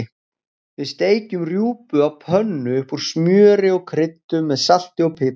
Við steikjum rjúpu á pönnu upp úr smjöri og kryddum með salti og pipar.